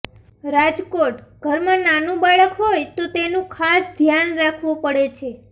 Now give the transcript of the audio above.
રાજકોટઃ ઘરમાં નાનું બાળક હોય તો તેનું ખાસ ધ્યાન રાખવું પડે છે